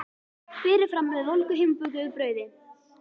Berið fram með volgu heimabökuðu brauði.